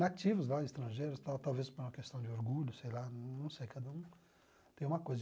nativos lá, estrangeiros, talvez por uma questão de orgulho, sei lá, não sei, cada um tem uma coisa.